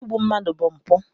Igbu mmadụ bụ mpụ.